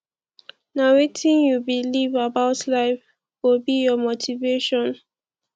nah wetin you believe about life go be your motivation